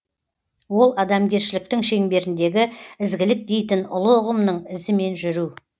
ол адамгершіліктің шеңберіндегі ізгілік дейтін ұлы ұғымның ізімен жүру